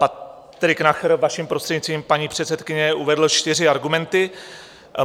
Patrik Nacher, vaším prostřednictvím, paní předsedkyně, uvedl čtyři argumenty.